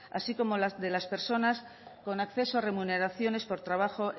así como la de las personas con acceso a remuneraciones por trabajo